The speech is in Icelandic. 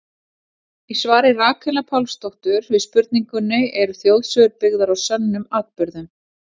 Í svari Rakelar Pálsdóttur við spurningunni Eru þjóðsögur byggðar á sönnum atburðum?